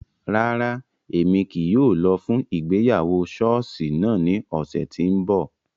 Rara, Emi kii yóò lọ fun ìgbéyàwó ṣọọṣi naa ni ọsẹ ti n bọ.